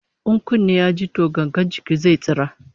In kunne ya ji to gangar jiki zai tsira